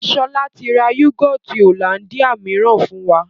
Sọlá tí ra yúgọ́ọ́tì Hollandia mìíràn fún wa